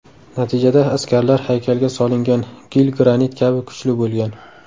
Natijada askarlar haykalga solingan gil granit kabi kuchli bo‘lgan.